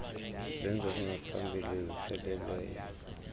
zenzo zingaphambili ziseleleyo